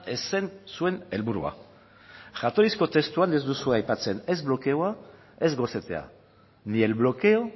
ez zen zuen helburua jatorrizko testuan ez duzue aipatzen ez blokeoa ez gosetzea ni el bloqueo